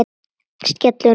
Skellur niður.